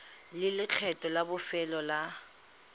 le lekgetho la bofelo la